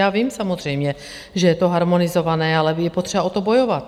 Já vím samozřejmě, že je to harmonizované, ale je potřeba o to bojovat.